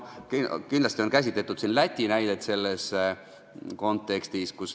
Siin on käsitletud Läti näidet.